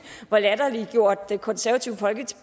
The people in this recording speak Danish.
hvor latterliggjort det konservative folkeparti